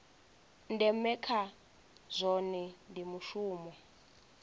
ndeme kha zwohe ndi mushumo